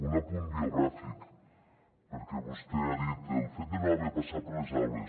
un apunt biogràfic perquè vostè ha dit el fet de no haver passat per les aules